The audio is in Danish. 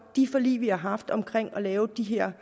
de forlig vi har haft omkring at lave de her